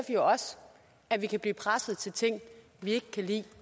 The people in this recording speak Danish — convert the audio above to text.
jo også at vi kan blive presset til ting vi ikke kan lide